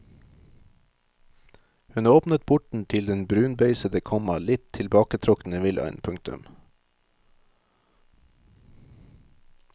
Hun åpnet porten til den brunbeisede, komma litt tilbaketrukne villaen. punktum